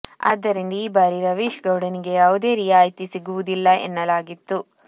ಆದ್ದರಿಂದ ಈ ಬಾರಿ ರವೀಶ್ ಗೌಡ ನಿಗೆ ಯಾವುದೇ ರಿಯಾಯಿತು ಸಿಗುವುದಿಲ್ಲ ಎನ್ನಲಾಗಿತ್ತು